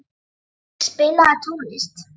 Bæring, spilaðu tónlist.